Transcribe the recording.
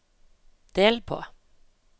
del på